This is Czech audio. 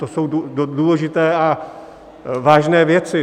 To jsou důležité a vážné věci.